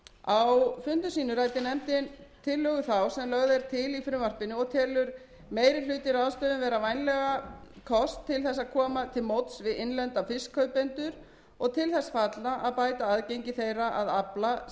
á fundum sínum ræddi nefndin tillögu þá sem lögð er til í frumvarpinu og telur meiri hlutinn ráðstöfunina vera vænlegan kost til að koma til móts við innlenda fiskkaupendur og til þess fallna að bæta aðgengi þeirra að afla sem